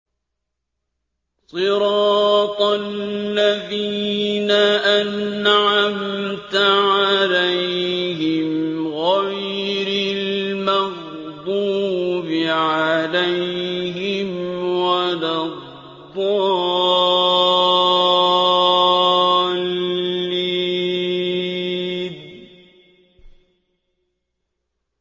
صِرَاطَ الَّذِينَ أَنْعَمْتَ عَلَيْهِمْ غَيْرِ الْمَغْضُوبِ عَلَيْهِمْ وَلَا الضَّالِّينَ